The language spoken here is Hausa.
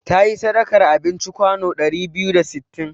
Ta yi sadakar abinci kwano ɗari biyu da sittin.